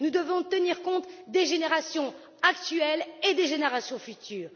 Nous devons tenir compte des générations actuelles et des générations futures.